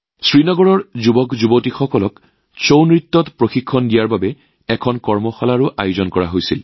শ্ৰীনগৰৰ যুৱকযুৱতীসকলক ছাউ নৃত্যৰ প্ৰশিক্ষণ প্ৰদানৰ বাবেও এখন কৰ্মশালাৰ আয়োজন কৰা হয়